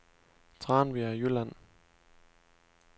Tranbjerg Jylland